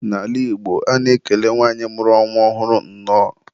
N'ala Igbo, a na-ekele nwanyị mụrụ nwa ọhụrụ, nnọọ.